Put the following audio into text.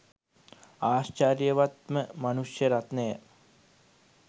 ආශ්චර්යවත් ම මනුෂ්‍ය රත්නය